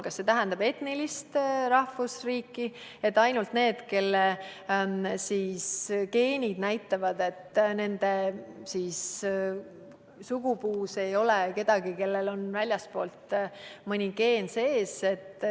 Kas see tähendab etnilist rahvusriiki, ainult need, kelle geenid näitavad, et nende sugupuus ei ole kedagi, kellel oleks väljastpoolt mõni geen sees?